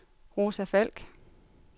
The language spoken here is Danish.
Rosa Falk